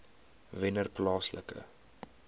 wennerplaaslike